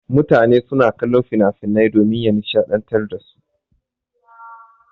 Mutane suna kallon finafinan domin ya nishaɗantar dasu.